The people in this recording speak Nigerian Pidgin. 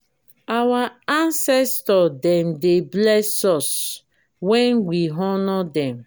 our ancestor dem dey bless us wen we honour dem.